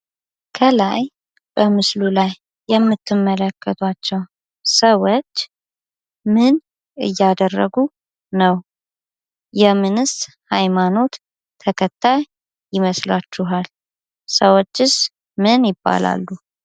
ከላይ በምስሉ ላይ የምትመለከቷቸው ሰዎች ምን እያደረጉ ነው። የምንስ ሃይማኖት ተከታይ ይመስላችኋል? ሰዎችስ ምን ይባላሉ?